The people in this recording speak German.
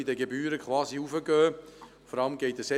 Die Gebühren zu erhöhen, das kann es also nicht sein.